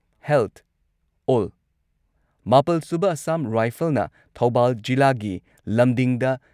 health ꯑꯣꯜ ꯃꯥꯄꯜ ꯁꯨꯕ ꯑꯥꯁꯥꯝ ꯔꯥꯏꯐꯜꯅ ꯊꯧꯕꯥꯜ ꯖꯤꯂꯥꯒꯤ ꯂꯝꯗꯤꯡꯗ